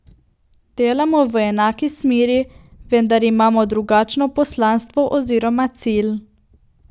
Delamo v enaki smeri, vendar imamo drugačno poslanstvo oziroma cilj.